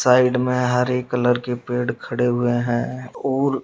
side में हरे colour के पेड़ खड़े हुए हैं और --